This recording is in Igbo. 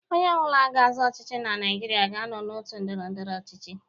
Onye ọ bụla ga-azọ ọchịchị na Naịjirịa ga-anọ n'òtù ndọrọ ndọrọ ọchịchị.